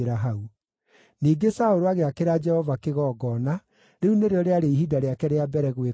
Ningĩ Saũlũ agĩakĩra Jehova kĩgongona; rĩu nĩrĩo rĩarĩ ihinda rĩake rĩa mbere gwĩka ũguo.